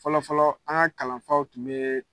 Fɔlɔfɔlɔ an ŋa kalanfaw tun yee